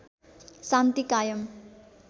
शान्ति कायम